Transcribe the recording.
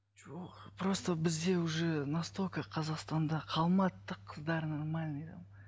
жоқ просто бізде уже настолько қазақстанда қалмады да қыздар нормальный да